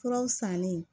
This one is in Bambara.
Furaw sannen